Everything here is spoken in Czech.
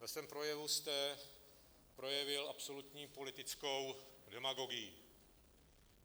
Ve svém projevu jste projevil absolutní politickou demagogii.